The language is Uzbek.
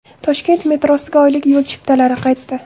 Toshkent metrosiga oylik yo‘l chiptalari qaytdi.